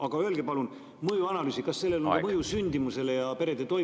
Aga öelge palun mõjuanalüüsi kohta, kas sellel on mõju sündimusele ja perede toimetulekule.